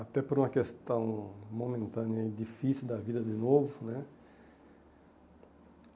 até por uma questão momentânea e difícil da vida de novo né.